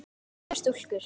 Heppnar stúlkur?